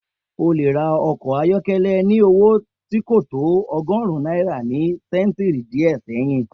O lè ra ọkọ̀ ayọ́kọ́lẹ́ ní owó tí kò tó ọgọ́rùn náírà ni ṣẹ́ntìrì díẹ̀ sẹ́hìn